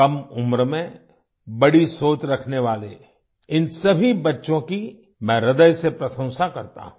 कम उम्र में बड़ी सोच रखने वाले इन सभी बच्चों की मैं हृदय से प्रशंसा करता हूं